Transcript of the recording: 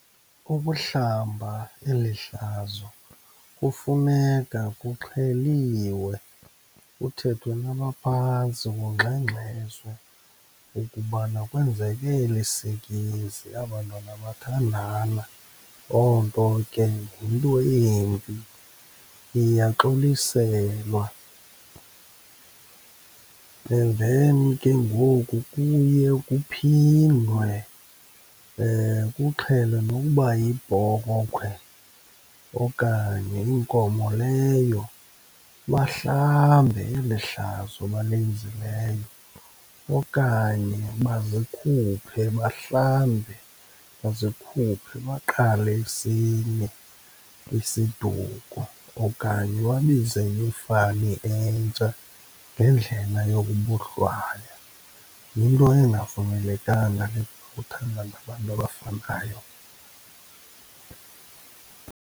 Ukuhlamba eli hlazo kufuneka kuxheliwe, kuthethwe nabaphantsi kungxengxezwe ukubana kwenzeke eli sikizi, aba 'ntwana bathandana. Loo nto ke yinto embi, iyaxoliselwa. And then kengoku kuye kuphindwe kuxhelwe nokuba yibhokhwe okanye inkomo leyo, bahlambe eli hlazo balenzileyo okanye bazikhuphe bahlambe, bazikhuphe baqale esinye isiduko okanye babize enye ifani entsha ngendlela yokubohlwaya. Yinto engavumelekanga le kuthandane abantu abafanayo.